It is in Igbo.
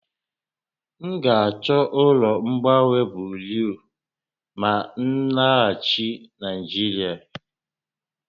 M ga-achọ ụlọ mgbanwe buriu ma m laghachi Naịjirịa